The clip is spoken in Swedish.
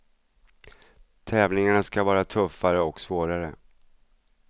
Tävlingarna skall vara tuffare och svårare.